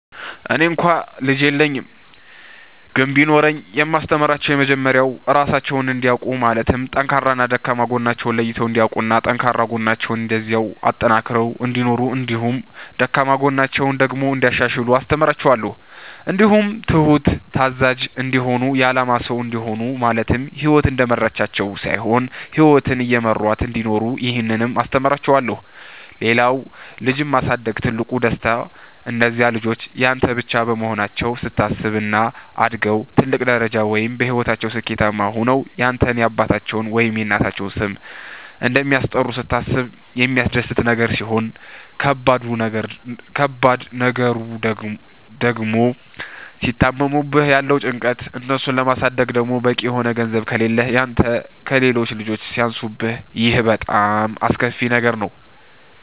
እኔ እንኳ ልጅ የለኝም ግን ቢኖረኝ የማስተምራቸዉ የመጀመሪያዉ ራሳቸዉን እንዲያዉቁ ማለትም ጠንካራና ደካማ ጎናቸዉን ለይተዉ እንዲያዉቁና ጠንካራ ጎናቸዉን እንደዚያዉ አጠንክረዉ እንዲኖሩ እንዲሁም ደካማ ጎናቸዉን ደግሞ እንያሻሽሉ አስተምራቸዋለሁ። እንዲሁም ትሁት፣ ታዛዥ፣ እንዲሆኑ የአላማ ሰዉ እንዲሆኑ ማለትም ህይወት እንደመራቻቸዉ ሳይሆን ህይወትን እየመሯት እንዲኖሩ ይህንንም አስተምራቸዋለሁ። ሌላዉ ልጅን ማሳደግ ትልቁ ደስታ እነዚያ ልጆች ያንተ ብቻ መሆናቸዉን ስታስብ፣ እና አድገዉ ትልቅ ደረጃ ወይም በህይወታቸዉ ስኬታማ ሆነዉ ያንተን የአባታቸዉን ወይም የእናታቸዉን ስም እንደሚያስጠሩ ስታስብ የሚያስደስት ነገር ሲሆን ከባድ ነገሩ ድግሞ ሲታመሙብህ ያለዉ ጭንቀት፣ እነሱን ለማሳደግ ደግሞ በቂ የሆነ ገንዘብ ከሌህ ያንተ ከሌሎች ልጆች ሲያንሱብህ ይሄ በጣም አስከፊ ነገር ነዉ።